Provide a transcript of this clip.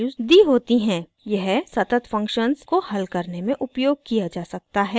यह सतत फंक्शन्स को हल करने में उपयोग किया जा सकता है